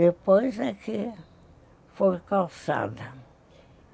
Depois é que foi calçada.